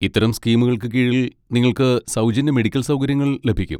ഇത്തരം സ്കീമുകൾക്ക് കീഴിൽ നിങ്ങൾക്ക് സൗജന്യ മെഡിക്കൽ സൗകര്യങ്ങൾ ലഭിക്കും.